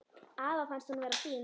Afa fannst hún vera fín.